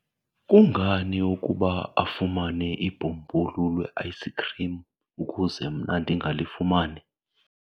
kungani ukuba afumane ibhumbulu le-ayisikhrim ukuze mna ndingalifumani?